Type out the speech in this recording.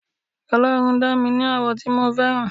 ọlọrun dá mi ní àwọ̀ tí mo fẹ́ràn